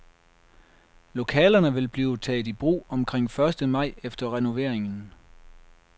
Lokalerne vil blive taget i brug omkring første maj efter renoveringen.